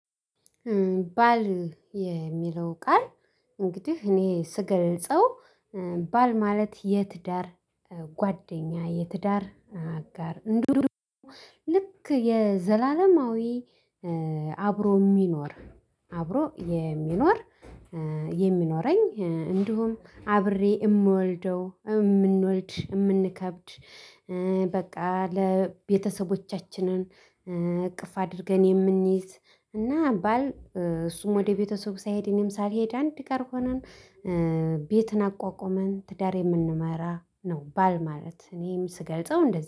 ባል የሚለው ቃል እንግዲህ እኔ ስገልጸው ባል ማለት የትዳር ጓደኛ የትዳር አጋር እንድሁም ልክ የዘላለማዊ አብሮ የሚኖር አብሮ የሚኖር የሚኖረኝ እንዲሁም አብሬ የምወልደው የምንወልድ የምንከብድ በቃ ለቤተሰቦቻችንን እቅፍ አድርገን የምንይዝ እና ባል እሱም ወደ ቤተሰብ ሳይሄድ እኔም ሳልሄድ አንድ ጋር ሆነን ቤትን አቋቁመን ትዳር የምንመራ ነው። ባል ማለት እኔም ስገልጸው እንደዚህ